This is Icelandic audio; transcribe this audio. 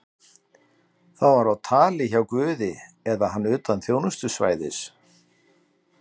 Það var á tali hjá guði eða hann utan þjónustusvæðis.